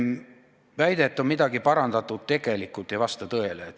Väide, et midagi on parandatud, tegelikult ei vasta tõele.